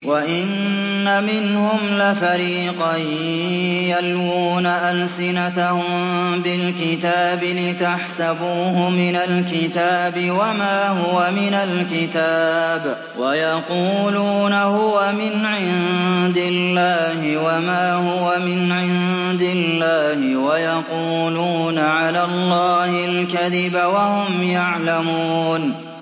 وَإِنَّ مِنْهُمْ لَفَرِيقًا يَلْوُونَ أَلْسِنَتَهُم بِالْكِتَابِ لِتَحْسَبُوهُ مِنَ الْكِتَابِ وَمَا هُوَ مِنَ الْكِتَابِ وَيَقُولُونَ هُوَ مِنْ عِندِ اللَّهِ وَمَا هُوَ مِنْ عِندِ اللَّهِ وَيَقُولُونَ عَلَى اللَّهِ الْكَذِبَ وَهُمْ يَعْلَمُونَ